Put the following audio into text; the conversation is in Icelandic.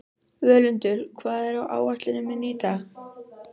Völundur, hvað er á áætluninni minni í dag?